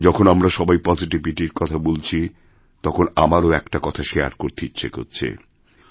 যখনআমরা সবাই পজিটিভিটির কথা বলছি তখন আমারও একটা কথা শেয়ার করতে ইচ্ছে হচ্ছে